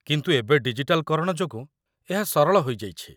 କିନ୍ତୁ ଏବେ ଡିଜିଟାଲ୍‌କରଣ ଯୋଗୁଁ, ଏହା ସରଳ ହୋଇଯାଇଛି